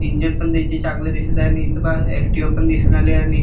engine पण त्याचे चांगले दिसत आहे आणि इथ पहा ॲक्टीव्हा पण दिसुन राहिलीये आणि --